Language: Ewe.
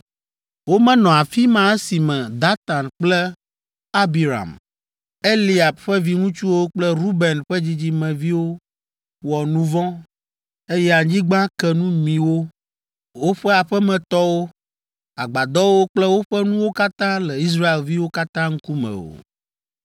Womenɔ afi ma esime Datan kple Abiram, Eliab ƒe viŋutsuwo kple Ruben ƒe dzidzimeviwo wɔ nu vɔ̃, eye anyigba ke nu mi wo, woƒe aƒemetɔwo, agbadɔwo kple woƒe nuwo katã le Israelviwo katã ŋkume o!